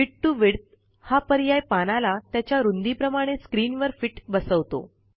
fit to width हा पर्याय पानाला त्याच्या रूंदीप्रमाणे स्क्रीनवर फिट बसवतो